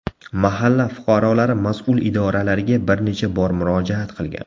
Mahalla fuqarolari mas’ul idoralarga bir necha bor murojaat qilgan.